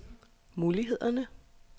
mulighederne